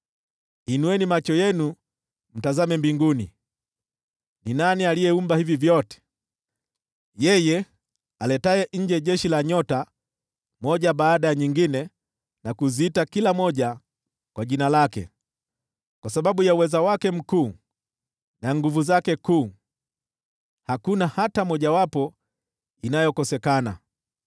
Inueni macho yenu mtazame mbinguni: Ni nani aliyeumba hivi vyote? Ni yeye aletaye nje jeshi la nyota moja baada ya nyingine na kuziita kila moja kwa jina lake. Kwa sababu ya uweza wake mkuu na nguvu zake kuu, hakuna hata mojawapo inayokosekana.